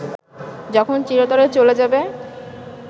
যখন চিরতরে চলে যাবে